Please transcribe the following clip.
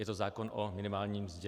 Je to zákon o minimální mzdě.